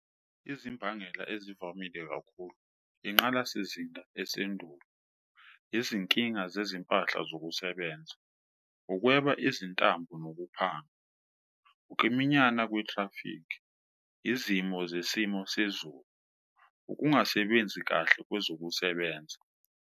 Izimbangela ezivamile kakhulu inqalasizinda esendulo, izinkinga zezimpahla zokusebenza, ukweba izintambo nokuphanga, ukiminyana kwe-thrafikhi, izimo zesimo sezulu, ukungasebenzi kahle kwezokusebenza.